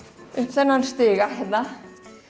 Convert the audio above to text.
þennan stiga hérna